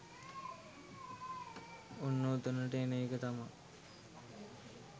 ඔන්න ඔතනට එන එක තමා